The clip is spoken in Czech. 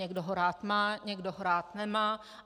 Někdo ho rád má, někdo ho rád nemá.